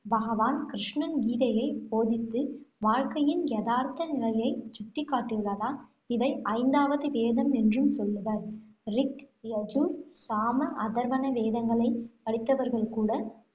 பகவான் கிருஷ்ணன் கீதையைப் போதித்து, வாழ்க்கையின் யதார்த்த நிலையைச் சுட்டிக்காட்டியுள்ளதால், இதை ஐந்தாவது வேதம் என்றும் சொல்லுவர். ரிக், யஜூர், சாம, அதர்வண வேதங்களை படித்தவர்கள் கூட